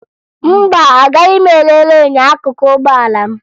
Mba, agaghị m elele enyo akụkụ ụgbọala m